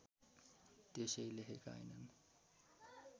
त्यसै लेखेका हैनन्